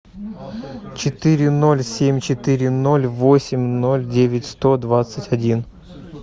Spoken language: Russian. четыре ноль семь четыре ноль восемь ноль девять сто двадцать один